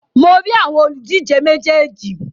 Mo rí àwọn òlùdíje méjèèjì.